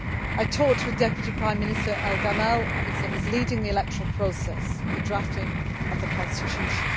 I talked with Deputy Prime Minister El Gamal, who is leading the electoral process and the drafting of the constitution.